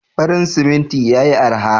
Farin siminti yayi araha.